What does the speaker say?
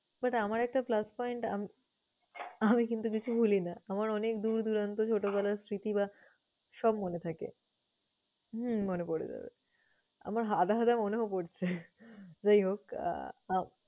but আমার একটা plus point আম~ আমি কিন্তু কিছু ভুলি না। আমার অনেক দূর দূরান্ত ছোটবেলার স্মৃতি বা সব মনে থাকে। হুম মনে পরে যাবে, আমার আধা আধা মনেও পরছে। যাই হোক আহ